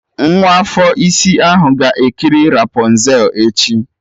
Nwa afọ isi ahụ ga-ekiri rapọnzel echi